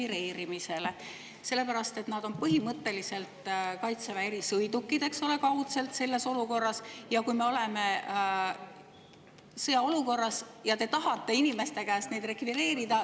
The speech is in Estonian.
Need on selles olukorras põhimõtteliselt Kaitseväe erisõidukid, eks ole, kaudselt, ja kui me oleme sõjaolukorras ja te tahate neid rekvireerida …